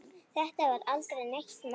Þetta var aldrei neitt mál.